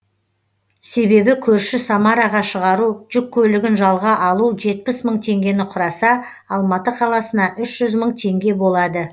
себебі көрші самараға шығару жүк көлігін жалға алу жетпіс мың теңгені құраса алматы қаласына үш жүз мың теңге болады